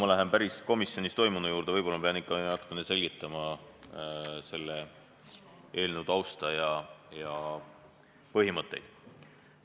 Enne kui ma lähen komisjonis toimunu juurde, pean võib-olla ikka natukene selgitama selle eelnõu tausta ja põhimõtteid.